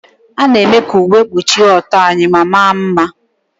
A na-eme ka uwe kpuchie ọtọ anyị ma maa mma.